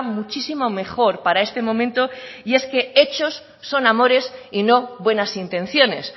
muchísimo mejor para este momento y es que hechos son amores y no buenas intenciones